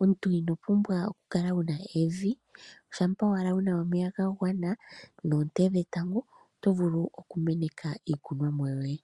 omuntu ino pumbwa oku kala wu na evi, shampa owala wu na omeya ga gwana noonte dhetango, oto vulu oku meneka iikunwa mo yoye.